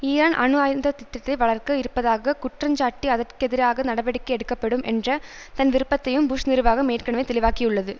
Iran அணு ஆயுத திட்டத்தை வளர்க்க இருப்பதாக குற்றஞ்சாட்டி அதற் கெதிராக நடவடிக்கை எடுக்கப்படும் என்ற தன் விருப்பத்தையும் புஷ் நிர்வாகம் ஏற்கனவே தெளிவாக்கியுள்ளது